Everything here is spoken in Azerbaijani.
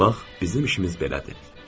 Bax, bizim işimiz belədir.